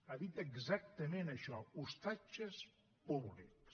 ha dit exactament això ostatges públics